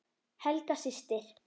Helga systir.